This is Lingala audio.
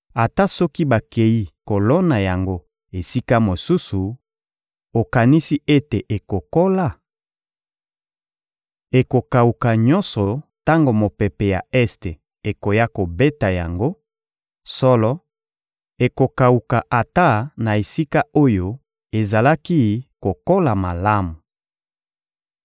Ata soki bakei kolona yango esika mosusu, okanisi ete ekokola? Ekokawuka nyonso tango mopepe ya este ekoya kobeta yango; solo ekokawuka ata na esika oyo ezalaki kokola malamu.›»